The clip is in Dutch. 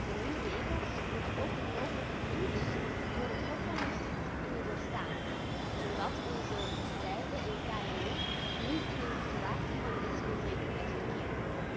De nieuwe regels moeten ook een mogelijke toets door het Hof van Justitie kunnen doorstaan, zodat onze bedrijven en kmo's niet in een situatie van rechtsonzekerheid verkeren.